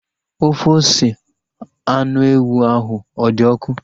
Ofe ose anụ ewu ahu ọ dị ọkụ?